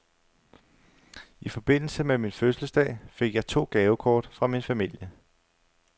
I forbindelse med min fødselsdag fik jeg to gavekort fra min familie.